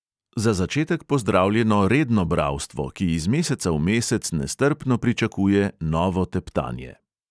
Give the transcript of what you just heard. Za začetek pozdravljeno redno bralstvo, ki iz meseca v mesec nestrpno pričakuje novo teptanje.